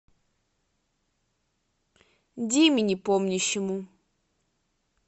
диме непомнящему